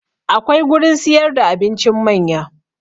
Akwai gurin siyar da abincin manya